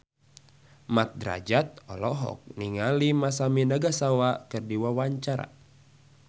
Mat Drajat olohok ningali Masami Nagasawa keur diwawancara